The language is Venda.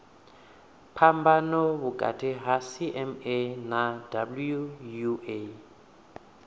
phambano vhukati ha cma na wua